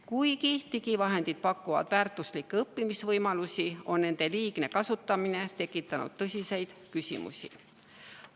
Kuigi digivahendid pakuvad väärtuslikke õppimisvõimalusi, on nende liigne kasutamine tekitanud tõsiseid küsimusi.